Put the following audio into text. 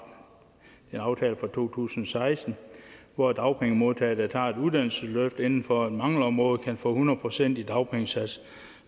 en aftale fra to tusind og seksten hvor dagpengemodtagere der tager et uddannelsesløft inden for et mangelområde kan få hundrede procent af dagpengesatsen